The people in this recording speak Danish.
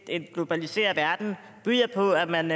en globaliseret verden byder på at man